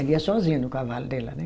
Ela ia sozinha no cavalo dela, né?